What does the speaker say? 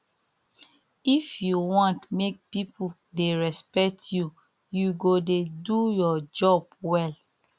if you wan make pipo dey respect you you go dey do your job well